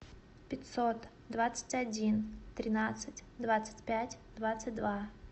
пятьсот двадцать один тринадцать двадцать пять двадцать два